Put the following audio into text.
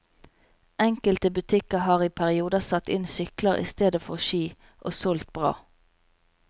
Enkelte butikker har i perioder satt inn sykler i stedet for ski, og solgt bra.